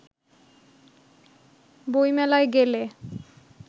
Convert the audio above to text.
বইমেলায় গেলে